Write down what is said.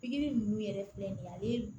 Pikiri ninnu yɛrɛ filɛ nin ye ale